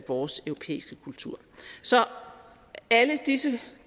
vores europæiske kultur så alle disse